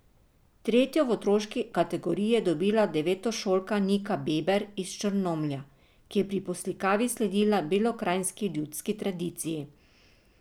Tretjo v otroški kategoriji je dobila devetošolka Nika Beber iz Črnomlja, ki je pri poslikavi sledila belokranjski ljudski tradiciji.